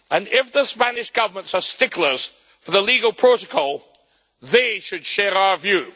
If the Spanish Government are sticklers for the legal protocol, they should share our view.